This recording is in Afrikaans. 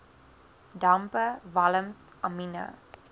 dampe walms amiene